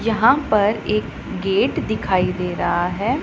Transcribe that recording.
यहां पर एक गेट दिखाई दे रहा है।